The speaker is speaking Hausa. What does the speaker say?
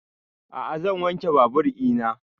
A'a zan wanke babur ina